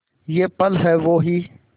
ये पल हैं वो ही